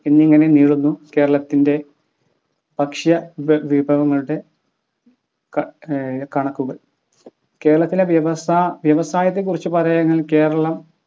എന്നിങ്ങനെ നീളുന്നു കേരളത്തിൻ്റെ ഭക്ഷ്യ ഭ വിഭവങ്ങളുടെ ക ഏർ കണക്കുകൾ കേരളത്തിലെ വ്യവസായത്തെ കുറിച്ച് പറയുകയാണെങ്കിൽ കേരളം